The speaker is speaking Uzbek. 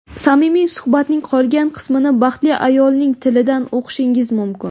Samimiy suhbatning qolgan qismini baxtli ayolning tilidan o‘qishingiz mumkin.